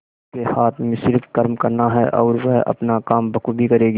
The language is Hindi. उसके हाथ में सिर्फ कर्म करना है और वह अपना काम बखूबी करेगी